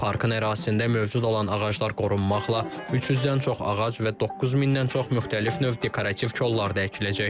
Parkın ərazisində mövcud olan ağaclar qorunmaqla 300-dən çox ağac və 9000-dən çox müxtəlif növ dekorativ kollar da əkiləcək.